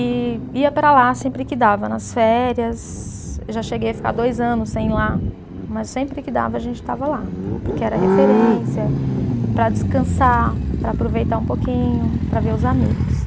E ia para lá sempre que dava, nas férias, já cheguei a ficar dois anos sem ir lá, mas sempre que dava a gente estava lá, porque era referência para descansar, para aproveitar um pouquinho, para ver os amigos.